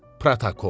Protokol.